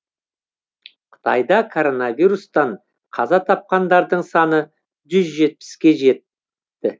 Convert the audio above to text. қытайда коронавирустан қаза тапқандардың саны жүз жетпіске жет ті